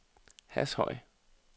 Hashøj